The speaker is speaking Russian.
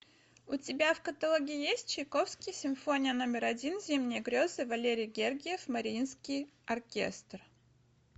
у тебя в каталоге есть чайковский симфония номер один зимние грезы валерий гергиев мариинский оркестр